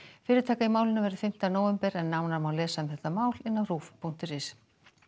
fyrirtaka í málinu verður fimmta nóvember nánar má lesa um málið á punktur is